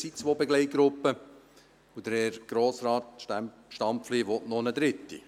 Es gibt zwei Begleitgruppen, und Herr Grossrat Stampfli will noch eine dritte.